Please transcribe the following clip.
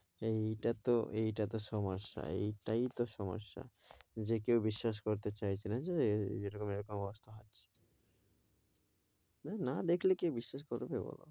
এটাতো এটাতো সমস্যা এইটাই তো সমস্যা যে কেউ বিশ্বাস করতে চাইছেনা যে এরকম এরকম অবস্থা হচ্ছে। না দেখলে কে বিশ্বাস করবে বল?